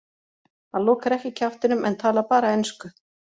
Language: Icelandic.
Hann lokar ekki kjaftinum en talar bara ensku.